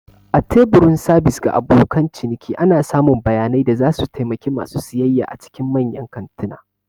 A teburin sabis ga abokan ciniki. ana samun bayanai da zasu taimaki ma su siyayya cikin manyan kantuna